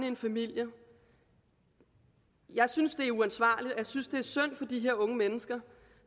en familie jeg synes det er uansvarligt og jeg synes det er synd for de her unge mennesker